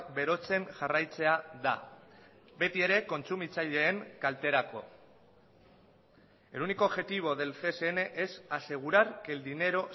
berotzen jarraitzea da beti ere kontsumitzaileen kalterako el único objetivo del csn es asegurar que el dinero